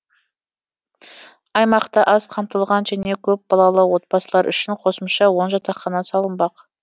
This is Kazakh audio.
аймақта аз қамтылған және көпбалалы отбасылар үшін қосымша он жатақхана салынбақ